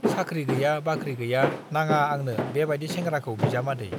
साख्रि गैया बाख्रि गैया नाङा आंनो बे बाइदि सेंग्राखौ बिजामादै।